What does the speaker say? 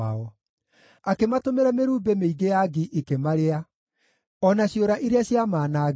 Akĩmatũmĩra mĩrumbĩ mĩingĩ ya ngi ikĩmarĩa, o na ciũra iria ciamaanangire.